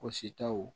Wɔsi taw